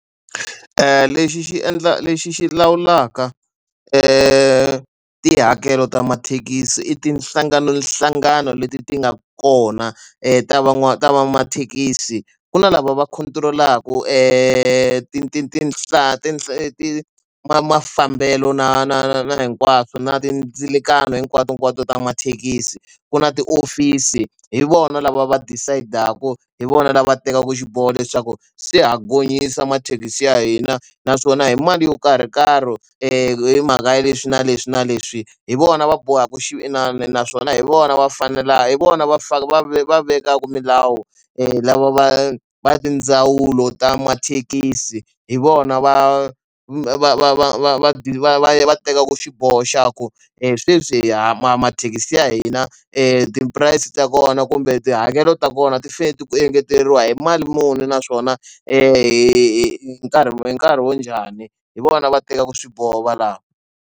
Lexi xi endla lexi xi lawulaka tihakelo ta mathekisi i tinhlangano nhlangano leti ti nga kona ta van'wamathekisi ku na lava va control-aku tinhla tinhla leti mafambelo na na na na hinkwaswo na mindzilikano hinkwato hinkwato ta mathekisi ku na tiofisi hi vona lava va decide a hi vona lava va tekaka xiboho leswaku swi ha gonyisa mathekisi ya hina naswona hi mali yo karhi hi karhi hi mhaka ya leswi na leswi na leswi hi vona va bohaka xin'wani naswona hi vona va faneleke hi vona va fane va vekaka milawu lava va va tindzawulo ta mathekisi hi vona va va va va va va va va va tekaka xiboho xa ku hi sweswi mathekisi ya hina ti price ta kona kumbe tihakelo ta kona ti fanele ku engeteriwa hi mali muni naswona hi nkarhi ni nkarhi wo njhani hi vona va tekaka swiboho va lawa.